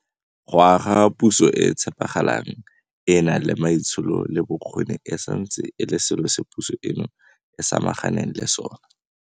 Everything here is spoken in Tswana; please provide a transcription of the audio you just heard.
Go aga puso e e tshepagalang, e e nang le maitsholo le bokgoni e santse e le selo se puso eno e samaganeng le sona.